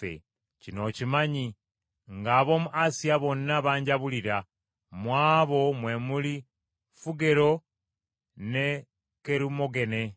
Kino okimanyi, ng’ab’omu Asiya bonna banjabulira, mu abo mwe muli Fugero ne Kerumogene.